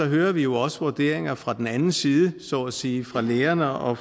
hører vi jo også vurderinger fra den anden side så at sige fra lærerne og